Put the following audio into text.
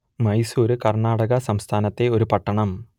മൈസൂർ കർണാടക സംസ്ഥാനത്തെ ഒരു പട്ടണം